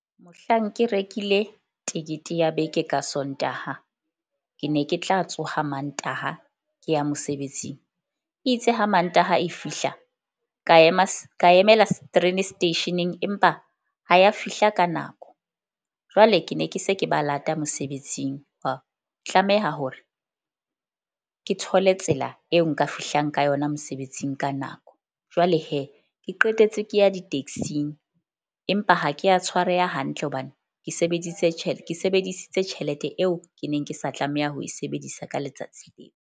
Mohlang ke rekile tekete ya beke ka Sontaha, ke ne ke tla tsoha Mantaha ke ya mosebetsing. E itse ha Mantaha e fihla ka ema, ka emela station-eng, empa ha ya fihla ka nako. Jwale ke ne ke se ke ba lata mosebetsing. Hwa tlameha hore ke thole tsela eo nka fihlang ka yona mosebetsing ka nako. Jwale ke qetetse ke ya di-taxing empa ha ke a tshwareha hantle hobane ke sebedise ke sebedisitse tjhelete eo ke neng ke sa tlameha ho e sebedisa ka letsatsi .